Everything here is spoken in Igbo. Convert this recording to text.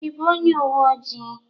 Ị bụ onye uwe ojii?